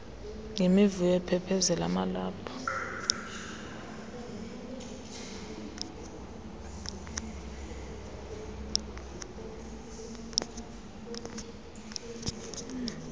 yimivuyo aphephezela amalaphu